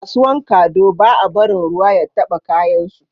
A kasuwan kado ba a barin ruwa ya taba kayan su